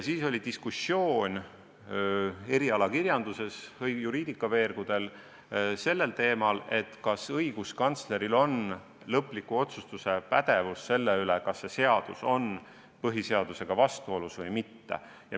Siis tekkis erialakirjanduses ehk juriidikaveergudel diskussioon teemal, kas õiguskantsler on pädev tegema lõplikku otsust, kas see seadus on põhiseadusega vastuolus või mitte.